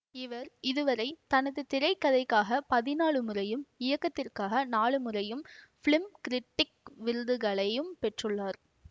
இவர் இதுவரை தனது திரைக்கதைக்காக பதினாலு முறையும் இயக்கத்திற்காக நான்கு முறையும் ஃபிலிம் கிரிட்டிக் விருதுகளை பெற்றுள்ளார்